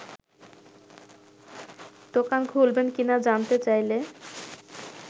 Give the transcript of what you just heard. দোকান খুলবেন কিনা জানতে চাইলে